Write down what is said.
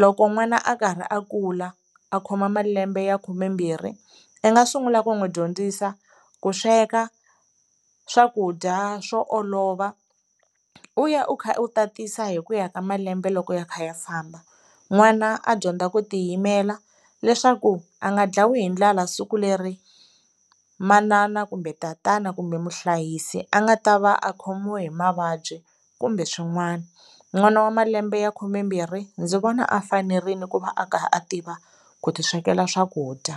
loko n'wana a karhi a kula a khoma malembe ya khumembirhi i nga sungula ku n'wi dyondzisa ku sweka swakudya swo olova u ya u kha u tatisa hi ku ya ka malembe loko ya kha ya famba n'wana a dyondza ku tiyimela leswaku a nga ndlayiwi hi ndlala siku leri manana kumbe tatana kumbe muhlayisi a nga ta va a khomiwe hi mavabyi kumbe swin'wana n'wana wa malembe ya khumembirhi ndzi vona a fanerile ku va a kha a tiva ku ti swekela swakudya.